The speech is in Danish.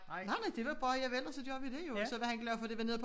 Nej nej det var bare javel og så gør vi det jo og så var han glad for det var nede på